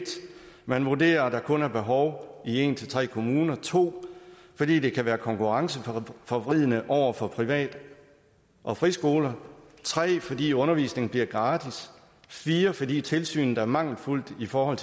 man vurderer at der kun er behov i en tre kommuner 2 fordi det kan være konkurrenceforvridende over for privat og friskoler 3 fordi undervisningen bliver gratis 4 fordi tilsynet er mangelfuldt i forhold